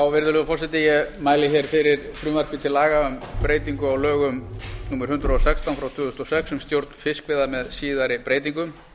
virðulegur forseti ég mæli hér fyrir frumvarpi til laga um breytingu á lögum númer hundrað og sextán tvö þúsund og sex um stjórn fiskveiða með síðari breytingum